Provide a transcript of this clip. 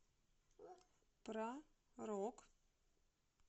про рок